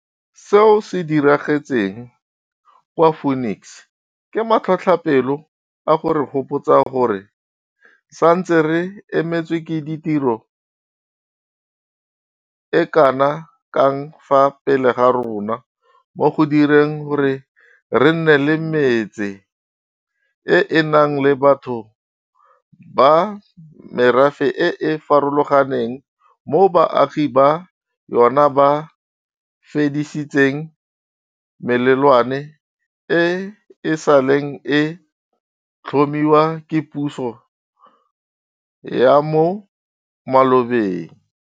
Seo se diragetseng kwa Phoenix ke matlhotlhapelo a go re gopotsa gore re santse re emetswe ke tiro e kana kang fa pele ga rona mo go direng gore re nne le metse e e nang le batho ba merafe e e farologaneng moo baagi ba yona ba fedisitseng melelwane e e saleng e tlhomiwa ke puso ya mo malobeng.